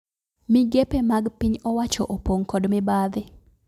Migepe mag piny owacho opon'g kod mibadhi